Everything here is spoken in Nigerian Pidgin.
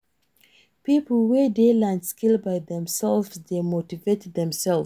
Pipo wey de learn skills by themselves de motivate themselves